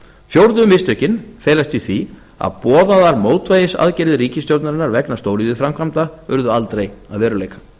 fjórðu mistökin felast í því að boðaðar mótvægisaðgerðir ríkisstjórnarinnar vegna stóriðjuframkvæmda urðu aldrei að veruleika